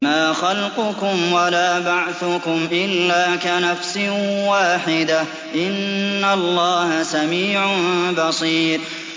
مَّا خَلْقُكُمْ وَلَا بَعْثُكُمْ إِلَّا كَنَفْسٍ وَاحِدَةٍ ۗ إِنَّ اللَّهَ سَمِيعٌ بَصِيرٌ